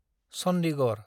Chandigarh